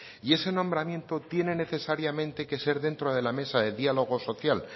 y ese nombramiento tiene necesariamente que ser dentro de la mesa de diálogo social